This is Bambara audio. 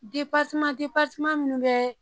munnu bɛɛ